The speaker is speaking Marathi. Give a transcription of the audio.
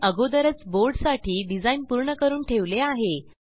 मी अगोदरच बोर्ड साठी डिझाईन पूर्ण करून ठेवले आहे